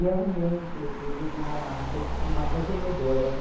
E arrumei, inclusive, uma re uma revendedora, né?